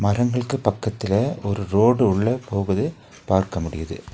மரங்களுக்கு பக்கத்துல ஒரு ரோடு உள்ள போகுது பார்க்க முடியிது.